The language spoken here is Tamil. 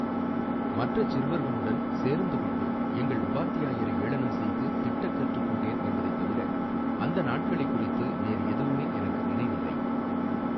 மற்றச் சிறுவர்குளுடன் சேர்ந்து கொண்டு, எங்கள் உபாத்தியாயரை, ஏளனம் செய்து திட்டக் கற்றுக் கொண்டேன், என்பதை தவிர, அந்த நாட்களை குறித்து வேறு எதுவுமே எனக்கு நினைவில்லை.